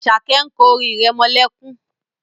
Asake is asinging a lullaby